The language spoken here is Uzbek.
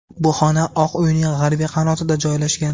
Bu xona Oq uyning g‘arbiy qanotida joylashgan.